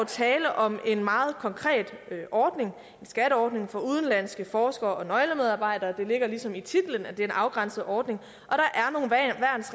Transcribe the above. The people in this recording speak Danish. tale om en meget konkret ordning en skatteordning for udenlandske forskere og nøglemedarbejdere det ligger ligesom i titlen at det er en afgrænset ordning